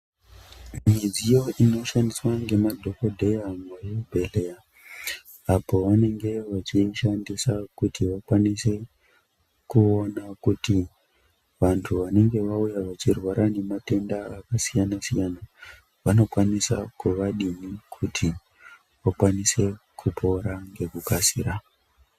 Midziyo inoshandiswa ngemadhokodheya muzvibhedheya apo vanenge vachiishandisa kuti vakwanise kuona kuti vanthu vanenge vauya vachirwara ngematenda akasiyana siyana vanokwanisa kuvadini kuti vakwanise kupora ngekukasira.